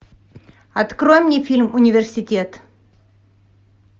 открой мне фильм университет